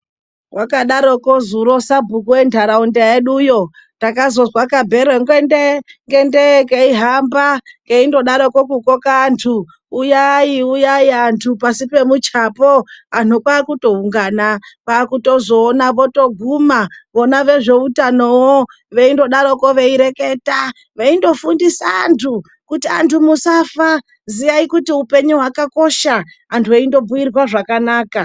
Vakadaroko zuro sabhuku venharaunda yeduyo takazozwa kabhero ngende-ngende keihamba kuindogaroko kukoka antu uyai-uyai antu pasi pemuchapo. Antu kwakutoungana kwakutozoona votoguma vona vezveutanovo veindodaroko veireketa, veindo fundisa antu kuti antu musafa ziyai kuti upenyu hwakakosha, antu eindo bhuirwa zvakanaka.